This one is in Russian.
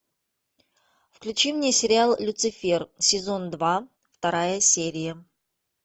включи мне сериал люцифер сезон два вторая серия